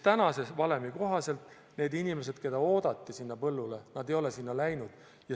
Tänase valemi kohaselt need inimesed, keda oodati põllule, ei ole sinna läinud.